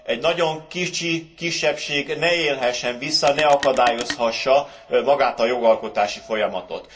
Egy nagyon kicsi kisebbség ne élhessen vissza, ne akadályozhassa magát a jogalkotási folyamatot.